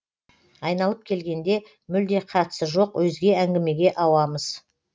айналып келгенде мүлде қатысы жоқ өзге әңгімеге ауамыз